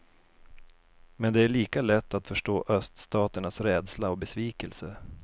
Men det är lika lätt att förstå öststaternas rädsla och besvikelse.